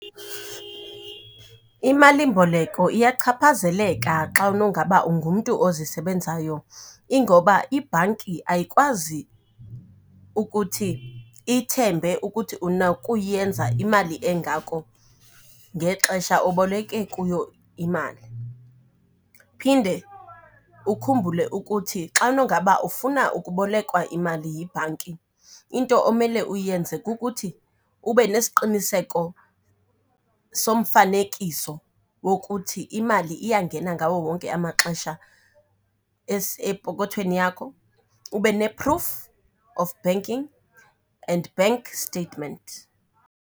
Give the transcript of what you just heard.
Imalimboleko iyachaphazeleka xa unowungaba ungumntu ozisebenzayo, ingoba ibhanki ayikwazi ukuthi ithembe ukuthi unakuyenza imali engako ngexesha oboleke kuyo imali. Phinde ukhumbule ukuthi xa unongaba ufuna ukubolekwa imali yibhanki, into omele uyenze kukuthi ube nesiqiniseko somfanekiso wokuthi imali iyangena ngawo wonke amaxesha epokothweni yakho, ube ne-proof of banking and bank statement.